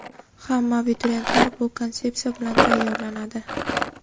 Hamma abituriyent shu konsepsiya bilan tayyorlanadi.